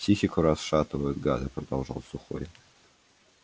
психику расшатывают гады продолжал сухой